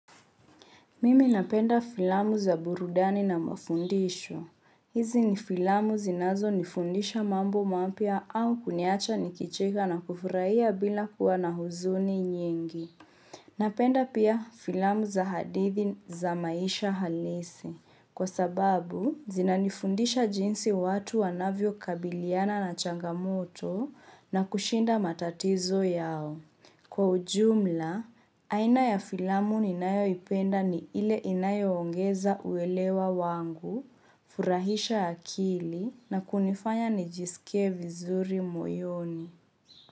Mimi napenda filamu za burudani na mafundisho. Hizi ni filamu zinazonifundisha mambo mapya au kuniacha nikicheka na kufurahia bila kuwa na huzuni nyingi. Napenda pia filamu za hadithi za maisha halisi. Kwa sababu, zinanifundisha jinsi watu wanavyo kabiliana na changamoto na kushinda matatizo yao. Kwa ujumla, aina ya filamu ninayoipenda ni ile inayoongeza uelewa wangu, kufurahisha akili na kunifanya nijisike vizuri moyoni.